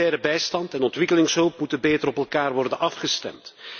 Humanitaire bijstand en ontwikkelingshulp moeten beter op elkaar worden afgestemd.